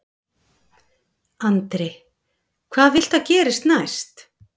Andri: Hvað viltu að gerist næst?